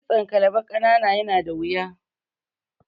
Kitson kalba ƙanana yana da wuya.